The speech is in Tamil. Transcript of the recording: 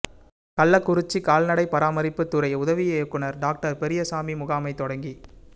கள்ளக்குறிச்சி கால்நடை பராமரிப்பு துறை உதவி இயக்குனர் டாக்டர் பெரியசாமி முகாமை தொடங்கி